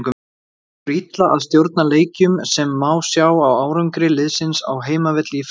Gengur illa að stjórna leikjum sem má sjá á árangri liðsins á heimavelli í fyrra.